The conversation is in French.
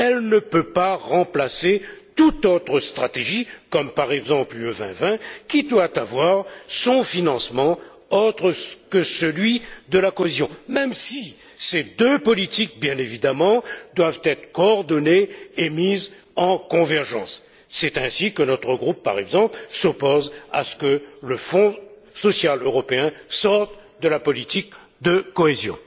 Elle ne peut pas remplacer toute autre stratégie comme, par exemple, l'Europe 2020, qui doit avoir son financement autre que celui de la cohésion, même si ces deux politiques, bien évidemment, doivent être coordonnées et mises en convergence. C'est ainsi que notre groupe, par exemple, s'oppose à ce que le Fonds social européen sorte de la politique de cohésion